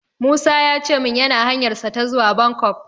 Musa ya ce min yana hanyarsa ta zuwa Bangkok.